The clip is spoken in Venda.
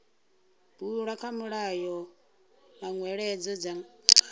bulwa kha mulayo manweledzo nga